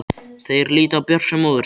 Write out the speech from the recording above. Þeir líta á Björk sem móður sína.